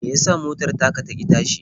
Me ya sa motar taka ta ƙi tashi?